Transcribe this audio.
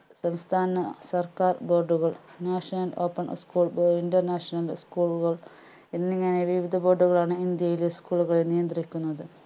സംസ്‌ഥാന സർക്കാർ board കൾ national open school international school ഉകൾ എന്നിങ്ങനെ വിവിധ board കളാണ് ഇന്ത്യയിലെ school കളെ നിയന്ദ്രിക്കുന്നത്